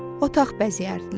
Otaq bəzəyərdilər.